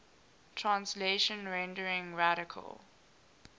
translation rendering radical